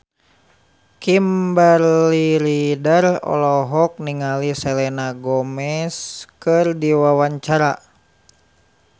Kimberly Ryder olohok ningali Selena Gomez keur diwawancara